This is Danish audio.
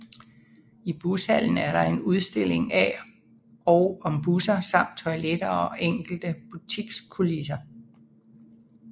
I Bushallen er der udstilling af og om busser samt toiletter og enkelte butikskulisser